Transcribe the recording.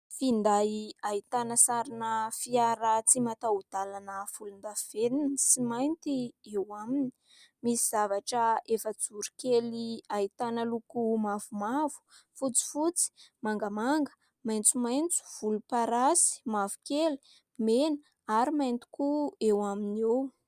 Finday ahitana sarina fiara tsy mataho-dalana volondavenona sy mainty eo aminy, misy zavatra efa-joro kely ahitana loko mavomavo, fotsifotsy, mangamanga, maitsomaitso, volom-parasy, mavokely, mena ary mainty koa eo aminy eo.